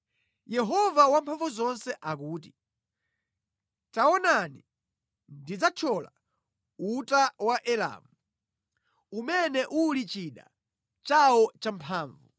Yehova Wamphamvuzonse akuti, “Taonani, ndidzathyola uta wa Elamu, umene uli chida chawo champhamvu.